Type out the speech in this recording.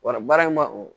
Wa baara in ma o